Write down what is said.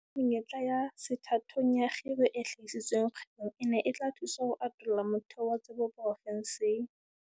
O itse menyetla ya sethathong ya kgiro e hlahisitsweng kgwebong ena e tla thusa ho atolla motheo wa tsebo profenseng.